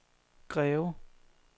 Greve